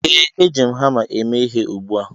Ee, Eji m hama eme ihe ugbu a